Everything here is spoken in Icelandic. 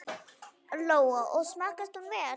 Lóa: Og smakkast hún vel?